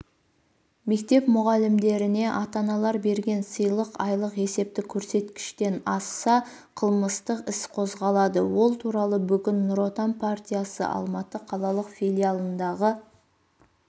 мектеп мұғалімдеріне ата-аналар берген сыйлық айлық есептік көрсеткіштен асса қылмыстық іс қозғалады ол туралы бүгін нұр отан партиясы алматы қалалық филиалындағы